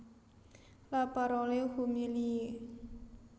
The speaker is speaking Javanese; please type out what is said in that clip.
La Parole humiliée